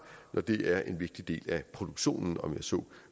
når det er en vigtig del af produktionen om jeg så